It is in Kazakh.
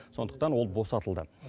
сондықтан ол босатылды